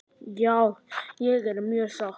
Já ég er mjög sátt.